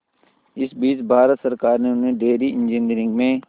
इस बीच भारत सरकार ने उन्हें डेयरी इंजीनियरिंग में